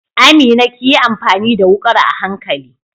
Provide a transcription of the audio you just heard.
Amina kiyi amfani da wukar a hankali.